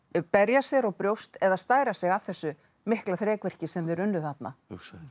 berja sér á brjóst eða stæra sig af þessu mikla þrekvirki sem þeir unnu þarna hugsaðu